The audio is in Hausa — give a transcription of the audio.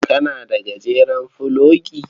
Kana da gajeren fulogi?